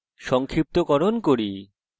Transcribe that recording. সংক্ষিপ্তকরণ করি